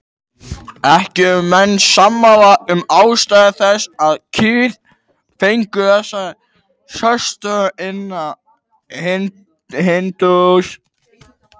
Ekki eru menn sammála um ástæður þess að kýr fengu þessa sérstöðu innan hindúasiðar.